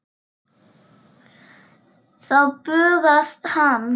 Þá bugast hann.